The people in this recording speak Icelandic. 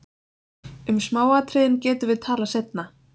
Um smáatriðin getum við talað seinna.